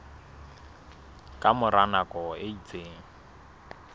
ka mora nako e itseng